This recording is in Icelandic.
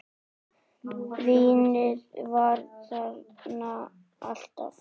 Vínið var þarna alltaf.